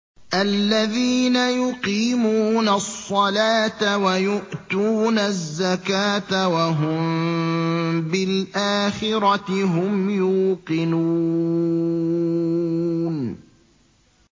الَّذِينَ يُقِيمُونَ الصَّلَاةَ وَيُؤْتُونَ الزَّكَاةَ وَهُم بِالْآخِرَةِ هُمْ يُوقِنُونَ